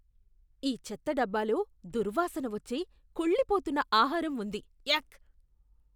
ఈ చెత్త డబ్బాలో దుర్వాసన వచ్చే కుళ్ళిపోతున్న ఆహారం ఉంది, యాక్ !